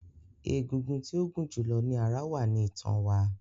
Egungun tí ó gún julọ ní ará wá ní itan wa